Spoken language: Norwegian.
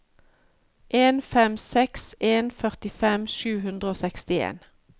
en fem seks en førtifem sju hundre og sekstien